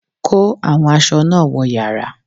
Kó àwọn aṣọ náà wọ yàrá!